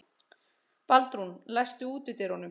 Baldrún, læstu útidyrunum.